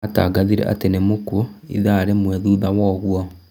Atangathĩre atĩ nĩmũkuo ithaa rĩmwe thutha woguo